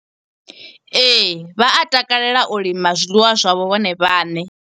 Ee, vha a takalela u lima zwiḽiwa zwavho vhone vhaṋe.